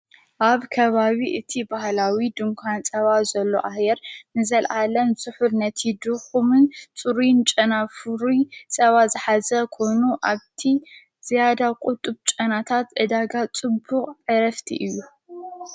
ኣብ ከባዊ እቲ በሃላዊ ድንኳን ጸባ ዘሎ ኣሔር ንዘለዓለን ዘሑር ነቲ ድኹምን ጽሩን ጨናፍዊ ጸብ ሠኃዘ ኮኑ ኣብቲ ዚኣዳ ቝጥ ብ ጨናታት ዕዳጋ ጽቡቕ ዕረፍቲ እዩ።